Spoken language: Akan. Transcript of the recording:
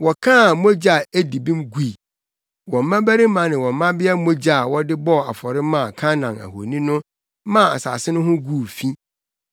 Wɔkaa mogya a edi bem gui, wɔn mmabarima ne wɔn mmabea mogya a wɔde bɔɔ afɔre maa Kanaan ahoni no maa asase no ho guu fi.